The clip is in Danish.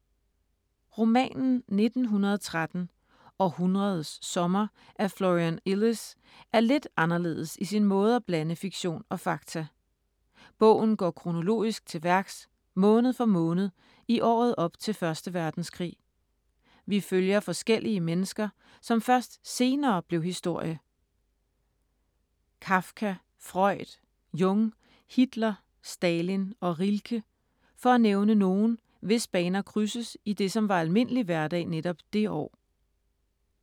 Romanen 1913 – Århundredets sommer af Florian Illies er lidt anderledes i sin måde at blande fiktion og fakta. Bogen går kronologisk til værks, måned for måned i året op til 1. verdenskrig. Vi følger forskellige mennesker, som først senere blev historie. Kafka, Freud, Jung, Hitler, Stalin og Rilke for at nævne nogle, hvis baner krydses i det som var almindelig hverdag netop det år.